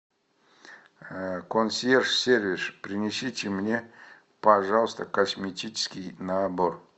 консьерж сервис принесите мне пожалуйста косметический набор